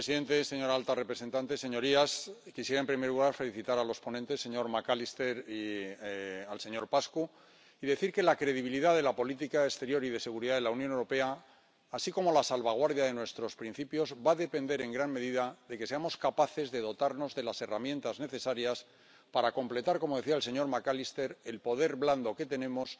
Señor presidente, señora alta representante, señorías, quisiera en primer lugar felicitar a los ponentes, al señor McAllister y al señor Paşcu, y decir que la credibilidad de la política exterior y de seguridad de la Unión Europea, así como la salvaguardia de nuestros principios, va a depender en gran medida de que seamos capaces de dotarnos de las herramientas necesarias para completar —como decía el señor McAllister— el poder blando que tenemos